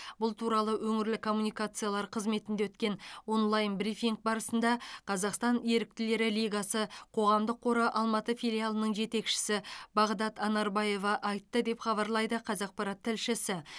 бұл туралы өңірлік коммуникациялар қызметінде өткен онлайн брифинг барысында қазақстан еріктілері лигасы қоғамдық қоры алматы филиалының жетекшісі бағдат анарбаева айтты деп хабарлайды қазақпарат тілшісі